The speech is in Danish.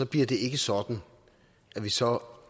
bliver det ikke sådan at vi så